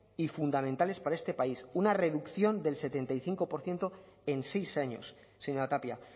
y fundamentales para este país una reducción del setenta y cinco por ciento en seis años señora tapia